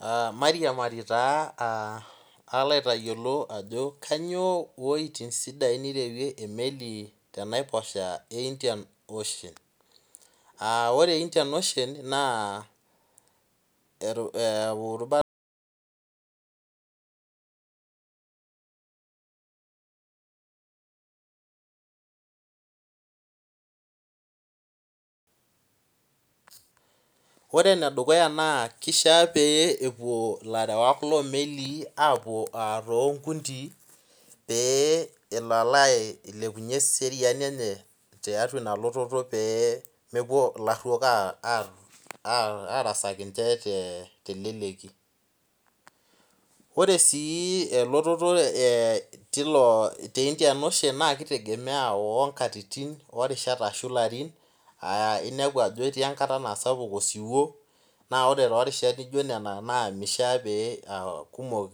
Aa mairiamari taa aah alo aitayiolo ajo kainyoo weitin sidain nirewie emeli tenaiposha e Indian Ocean Ore Indian Ocean naa Ore enedukuya naa kishaa pee epuo ilarewak lomelii apuo tonkundii pee elo alo ailepunye eseriani enye tiatua ina lototo pee mepuo ilarhuok arasaki ninche teleleki Ore sii elototo te Indian Ocean naa kitegemea oonkatitin oorishat ashu ilarin aa inepu etii enkata naa sapuk osiwuo naa ore too rishat nijo nena naa mishaa naa kumok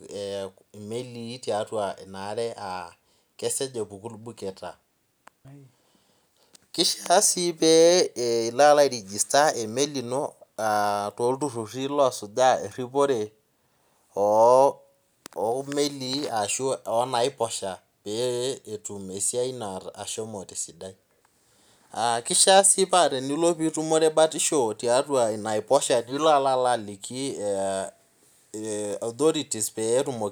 imelii tiatua ina are aa kesioki apuku ilbuketa Keishaa sii piilo airigusta emeli ino tolturhurhi loosujaa eripore oomelii ashu oonaiposha pee etum esiai ino ashomo tesidai Kishaa sii naa tenilo atum batisho tiatua enaiposha nilo alalo aliki authorities peetumoki